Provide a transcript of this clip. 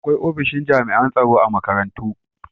Akwai ofishin jami'an tsaro a makarantu.